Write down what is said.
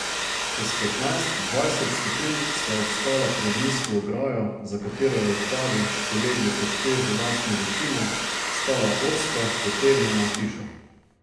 Čez petnajst, dvajset stopinj sva obstala pred nizko ograjo, za katero je v travi, polegli pod težo lastne višine, stala ozka, potegnjena hiša.